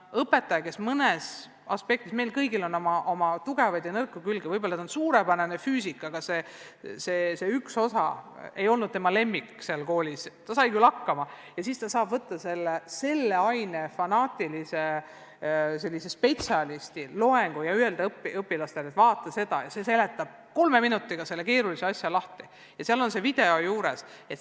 Õpetaja, kes mõnes aspektis – meil kõigil on oma tugevaid ja nõrku külgi – on võib-olla suurepärane füüsik, aga mõnes teises teemas, mis ei olnud koolis tema lemmik, ei pruugi seda olla, ehkki ta sai hakkama, saab nüüd võtta mõne fanaatilise spetsialisti loengu ja öelda õpilastele, et vaadake seda, see seletab teile keerulise asja kolme minutiga lahti ja video on ka veel juures.